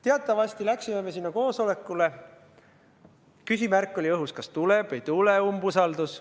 Teatavasti läksime me sinna koosolekule, küsimärk oli õhus, kas tuleb või ei tule umbusaldusavaldus.